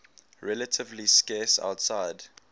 relatively scarce outside